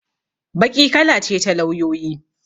Baƙi kala ce ta lauyoyi.